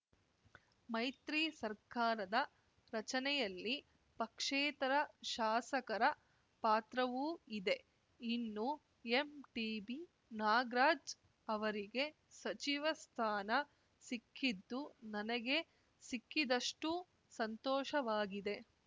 ಮೈತ್ರಿ ಸರ್ಕಾರದ ರಚನೆಯಲ್ಲಿ ಪಕ್ಷೇತರ ಶಾಸಕರ ಪಾತ್ರವೂ ಇದೆ ಇನ್ನು ಎಂಟಿಬಿ ನಾಗ್ರಾಜ್‌ ಅವರಿಗೆ ಸಚಿವ ಸ್ಥಾನ ಸಿಕ್ಕಿದ್ದು ನನಗೇ ಸಿಕ್ಕಿದಷ್ಟುಸಂತೋಷವಾಗಿದೆ